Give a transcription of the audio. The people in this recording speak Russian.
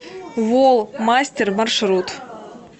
волл мастер маршрут